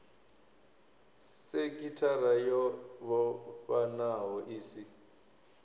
sekithara yo vhofhanaho i si